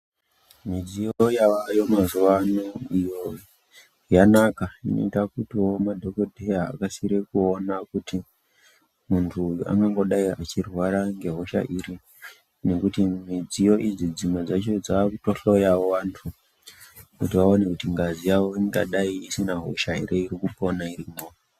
Mudziyo yaayo mazuvano iyo yanaka inoita kuti woo madhokodyeya akasire aone kuti muntu uyu anongogadai echirwara nehosha iri , nekuti midziyo idzi dzimwe dzacho dzakutohloyawo antu, kuti vaone kuti ngazi yavo ingadai isina hosha here irikupona irimwo.